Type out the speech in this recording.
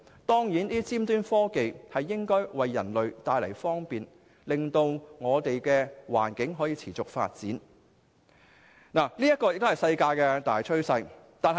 當然，尖端科技能夠為人類帶來方便，令我們的環境得以持續發展；這也是世界的大趨勢。